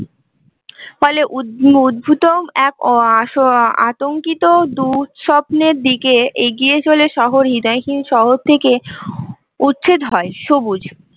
ফলে উদ্ভ উদ্ভিদও এক আঃ আতঙ্কিত দুঃস্বপ্নের দিকে এগিয়ে চলে শহর হৃদয়হীন শহর থেকে উচ্ছেদ হয় সবুজ